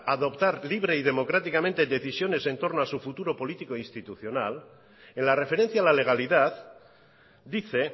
adoptar libre y democráticamente decisiones entorno a su futuro político institucional en la referencia al a legalidad dice